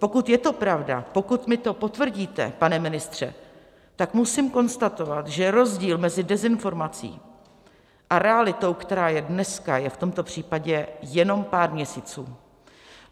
Pokud je to pravda, pokud mi to potvrdíte, pane ministře, tak musím konstatovat, že rozdíl mezi dezinformací a realitou, která je dneska, je v tomto případě jenom pár měsíců.